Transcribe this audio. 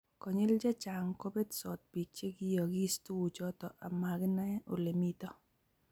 konyil chechang kobetsot biik chegiyoogiis tuguchoto amaginae olemito